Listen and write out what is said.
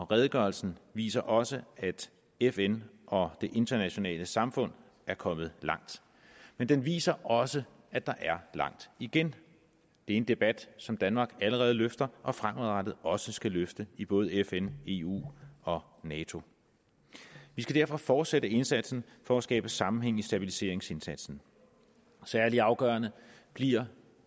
redegørelsen viser også at fn og det internationale samfund er kommet langt men den viser også at der er langt igen det en debat som danmark allerede løfter og fremadrettet også skal løfte i både fn eu og nato vi skal derfor fortsætte indsatsen for at skabe sammenhæng i stabiliseringsindsatsen særlig afgørende bliver